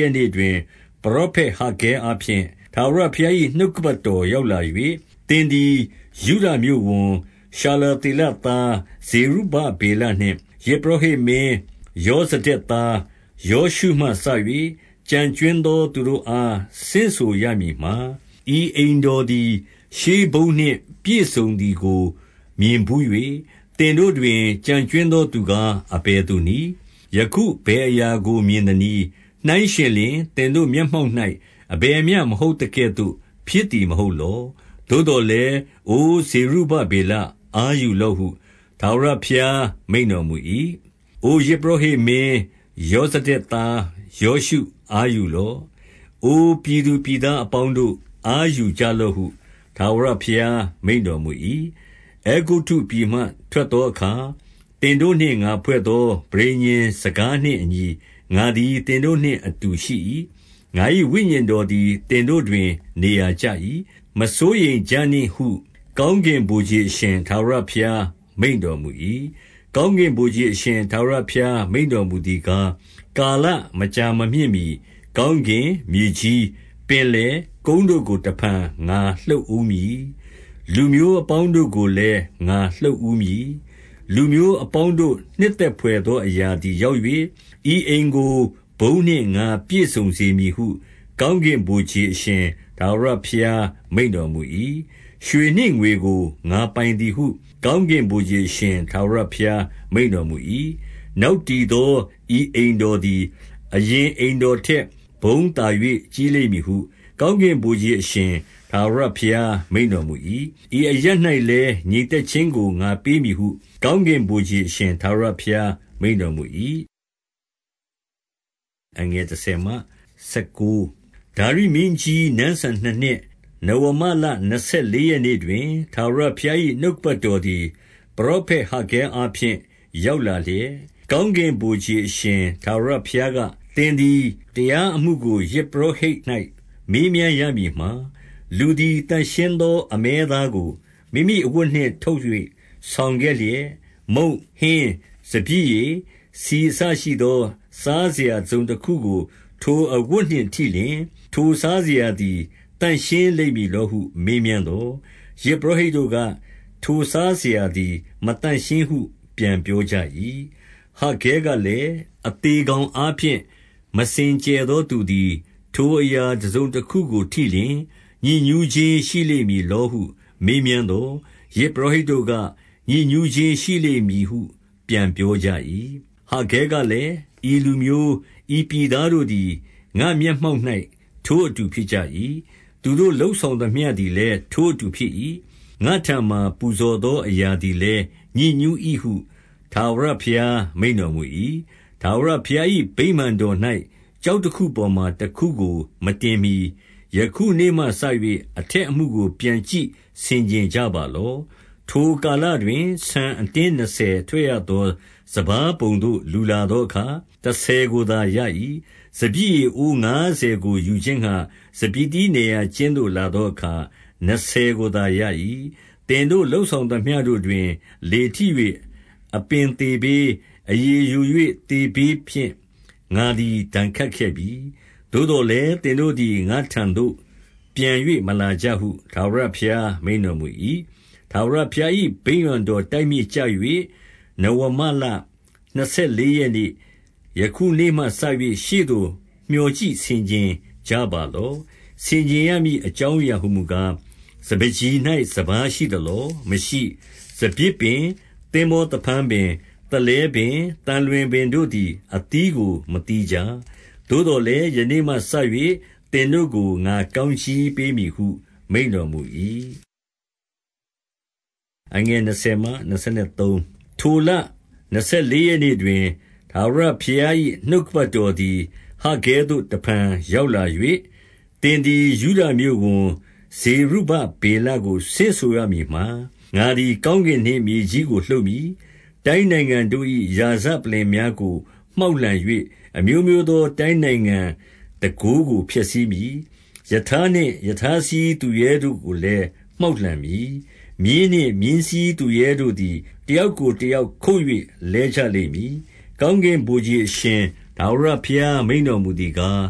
ရက်နေ့တွင်၊ ပရောဖက် ဟဂ္ဂဲအားဖြင့် ထာဝရဘုရား၏ နှုတ်ကပတ်တော် ရောက် လာ၍၊ 2 သင်သည် ယုဒမြို့ဝန်၊ ရှာလသေလသား ဇေရု ဗဗေလနှင့် ယဇ်ပုရောဟိတ်မင်းယောဇဒက်သား ယောရှု မှစ၍ ကျန်ကြွင်းသောသူတို့အား ဆင့်ဆိုရမည်မှာ၊ 3 ဤအိမ်တော်သည် ရှေးဘုန်းနှင့် ပြည့်စုံသည်ကို မြင်ဘူး၍ သင်တို့တွင် ကျန်ကြွင်းသော သူကား အဘယ် သူနည်း။ ယခုအဘယ်အရာကို မြင်သနည်း။ နှိုင်းယှဉ် လျှင် သင်တို့မျက်မှောက်၌ အဘယ်မျှမဟုတ်သကဲ့သို့ ဖြစ်သည်မဟုတ်လော။ 4 သို့သော်လည်း၊ အိုဇေရုဗဗေလ၊ အားယူလော့ ဟု၊ ထာဝရဘုရားမိန့်တော်မူ၏။ အို ယဇ်ပုရောဟိတ်မင်း ယောဇဒက်သားယောရှု၊ အားယူလော့။ အိုပြည်သူပြည် သားအပေါင်းတို့၊ အားယူကြလော့ဟု၊ ထာဝရဘုရား မိန့် တော်မူ၏။ 5 အဲဂုတ္တုပြည်မှ ထွက်သောအခါ သင်တို့နှင့် ငါဖွဲ့ သော ပဋိညာဉ်စကားနှင့်အညီ ငါသည် သင်တို့နှင့်အတူ ရှိ၏။ ငါ၏ဝိညာဉ်တော်သည် သင်တို့တွင် နေရာကျ၏။ မစိုးရိမ်ကြနှင့်ဟု၊ ကောင်းကင်ဗိုလ်ခြေအရှင် ထာဝရ ဘုရားမိန့်တော်မူ၏။ 6 ကောင်းကင်ဗိုလ်ခြေအရှင် ထာဝရဘုရား မိန့် တော်မူသည်ကား၊ ကာလမကြာမမြင့်မှီကောင်းကင်၊ မြေကြီး၊ ပင်လယ်၊ ကုန်းတို့ကို တဖန် ငါလှုပ်ဦးမည်။ 7 လူမျိုးအပေါင်းတို့ကိုလည်း ငါလှုပ်ဦးမည်။ လူမျိုး အပေါင်းတို့ နှစ်သက်ဘွယ်သောအရာသည် ရောက်၍၊ ဤအိမ်ကို ဘုန်းနှင့် ငါပြည့်စုံစေမည်ဟု၊ ကောင်းကင်ဗိုလ် ခြေအရှင် ထာဝရဘုရားမိန့်တော်မူ၏။ 8 ရွှေနှင့်ငွေကို ငါပိုင်သည်ဟု၊ ကောင်းကင်ဗိုလ် ခြေအရှင် ထာဝရဘုရားမိန့်တော်မူ၏။ 9 နောက်တည်သော ဤအိမ်တော်သည် အရင် အိမ်တော်ထက် ဘုန်းသာ၍ကြီးလိမ့်မည်ဟု၊ ကောင်းကင် ဗိုလ်ခြေအရှင် ထာဝရဘုရား မိန့်တော်မူ၏။ ဤအရပ်၌ လည်း ငြိမ်သက်ခြင်းကို ငါပေးမည်ဟု၊ ကောင်းကင်ဗိုလ် ခြေအရှင် ထာဝရဘုရား မိန့်တော်မူ၏။ 10 ဒါရိမင်းကြီး နန်းစံနှစ်နှစ်၊ နဝမလနှစ်ဆယ် လေးရက်နေ့တွင်၊ ထာဝရဘုရား၏နှုတ်ကပတ်တော် သည် ပရောဖက်ဟဂ္ဂဲအားဖြင့် ရောက်လာလျက်၊ 11 ကောင်းကင်ဗိုလ်ခြေအရှင် ထာဝရဘုရားက၊ သင်သည် တရားအမှုကို ယဇ်ပုရောဟိတ်၌ မေးမြန်းရ မည်မှာ၊ 12 လူသည် သန့်ရှင်းသော အမဲသားကို မိမိအဝတ် နှင့် ထုတ်၍ ဆောင်ခဲ့လျက်၊ မုန့်၊ ဟင်း၊ စပျစ်ရည်၊ ဆီ အစရှိသော စားစရာတစုံတခုကို ထိုအဝတ်နှင့်ထိလျှင်၊ ထိုစားစရာသည် သန့်ရှင်းလိမ့်မည်လောဟု မေးမြန်း သော်၊ ယဇ်ပုရောဟိတ်တို့က၊ ထိုစားစရာသည် မသန့်ရှင်း ဟု ပြန်ပြောကြ၏။ 13 ဟဂ္ဂဲကလည်း၊ အသေကောင်အားဖြင့် မစင် ကြယ်သောသူသည် ထိုအရာတစုံတခုကိုထိလျှင် ညစ်ညူး ခြင်းရှိလိမ့်မည်လောဟု မေးမြန်းသော်၊ ယဇ်ပုရောဟိတ် တို့က၊ ညစ်ညူးခြင်းရှိလိမ့်မည်ဟု ပြန်ပြောကြ၏။ 14 ဟဂ္ဂဲကလည်း၊ ဤလူမျိုး၊ ဤပြည်သားတို့သည် ငါ့မျက်မှောက်၌ ထိုအတူဖြစ်ကြ၏။ သူတို့လုပ်ဆောင် သမျှသည်လည်း ထိုအတူဖြစ်၏။ ငါ့ထံမှာ ပူဇော်သော အရာသည်လည်း ညစ်ညူး၏ဟု၊ ထာဝရဘုရား မိန့်တော် မူ၏။ 15 ထာဝရဘုရား၏ဗိမာန်တော်၌ ကျောက်တခု ပေါ်မှာ တခုကို မတင်မှီ၊ ယခုနေ့မှစ၍ အထက်အမှုကို ပြန်ကြည့်ဆင်ခြင်ကြပါလော့။ 16 ထိုကာလတွင် ဆန်အတင်းနှစ်ဆယ်ထွက်ရ သော စပါးပုံသို့ လူလာသောအခါ တဆယ်ကိုသာ ရ၏။ စပျစ်ရည်အိုးငါးဆယ်ကို ယူခြင်းငှါ စပျစ်သီးနယ်ရာကျင်း သို့ လာသောအခါ နှစ်ဆယ်ကိုသာ ရ၏။ 17 သင်တို့ လုပ်ဆောင်သမျှတို့တွင် လေထိ၍ အပင်သေဘေး၊ အရည်ယို၍ သေဘေးဖြင့် ငါသည် ဒဏ် ခတ်ခဲ့ပြီ။ သို့သော်လည်း၊ သင်တို့သည် ငါ့ထံသို့ ပြန်၍ မလာကြဟု ထာဝရဘုရားမိန့်တော်မူ၏။ 18 ထာဝရဘုရား၏ဗိမာန်တော်တိုက်မြစ်ကျ၍၊ နဝမလနှစ်ဆယ်လေးရက်နေ့၊ ယနေ့မှစ၍ ရှေ့သို့ မျှော် ကြည့်ဆင်ခြင်ကြပါလော့။ ဆင်ခြင်ရမည်အကြောင်း အရာဟူမူကား၊ 19 စပါးကျီ၌ စပါးရှိသလော။ မရှိ။ စပျစ်ပင်၊ သင်္ဘောသဖန်းပင်၊ သလဲပင်၊ သံလွင်ပင်တို့သည် အသီး ကို မသီးကြသေး။ သို့သော်လည်း၊ ယနေ့မှစ၍ သင်တို့ကို ငါကောင်းကြီးပေးမည်ဟု မိန့်တော်မူ၏။ 20 ထိုလနှစ်ဆယ်လေးရက်နေ့တွင်၊ ထာဝရဘုရား ၏နှုတ်ကပတ်တော်သည် ဟဂ္ဂဲသို့ တဖန်ရောက်လာ၍၊ 21 သင်သည် ယုဒမြို့ဝန်၊ ဇေရုဗဗေလကို ဆင့်ဆို ရမည်မှာ၊ ငါသည် ကောင်းကင်နှင့်မြေကြီးကို လှုပ်မည်။ 22 တိုင်းနိုင်ငံတို့၏ ရာဇပလ္လင်များကို မှောက်လှန် ၍၊ အမျိုးမျိုးသော တိုင်းနိုင်ငံတန်ခိုးကို ဖျက်ဆီးမည်။ ရထားနှင့် ရထားစီးသူရဲတို့ ကိုလည်း မှောက်လှန်မည်။ မြင်းနှင့် မြင်းစီးသူရဲ တို့သည် တယောက်ကို တယောက်ခုတ်၍ လဲကြလိမ့်မည်။ 23 ကောင်းကင်ဗိုလ်ခြေအရှင် ထာဝရဘုရား မိန့် တော်မူသည်ကား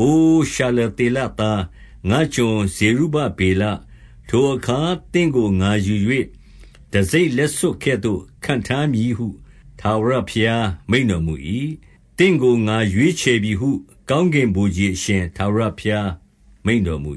၊ အို ရှာလသေလသား၊ ငါ့ကျွန်ဇေရုဗ ဗေလ၊ ထိုအခါ သင့်ကိုငါယူ၍ တံဆိပ်လက်စွပ်ကဲ့သို့ ခန့် ထားမည်ဟု၊ ထာဝရဘုရား မိန့်တော်မူ၏။ သင့်ကို ငါရွေး ချယ်ပြီဟု၊ ကောင်းကင်ဗိုလ်ခြေအရှင် ထာဝရဘုရား မိန့် တော်မူ